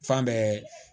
Fan bɛɛ